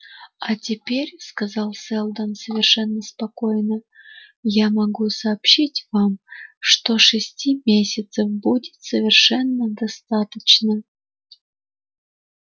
а теперь сказал сэлдон совершенно спокойно я могу сообщить вам что шести месяцев будет совершенно достаточно